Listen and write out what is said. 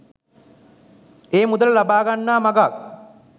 ඒ මුදල ලබා ගන්නා මගක්